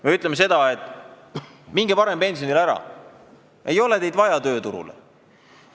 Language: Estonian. Me ütleme, et minge varem pensionile, teid ei ole tööturule vaja!